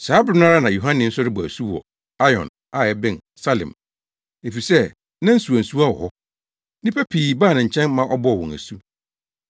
Saa bere no ara na Yohane nso rebɔ asu wɔ Ainon a ɛbɛn Salim, efisɛ na nsuwansuwa wɔ hɔ. Nnipa pii baa ne nkyɛn ma ɔbɔɔ wɔn asu.